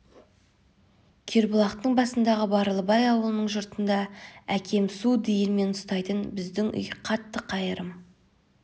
кербұлақтың басындағы барлыбай аулының жұртында әкем су диірмен ұстайтын біздің үй қатты қайырым